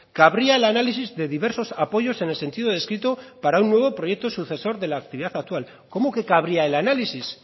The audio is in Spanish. cabría el análisis de diversos apoyos en el sentido descrito para un nuevo proyecto sucesor de la actividad actual cómo que cabría el análisis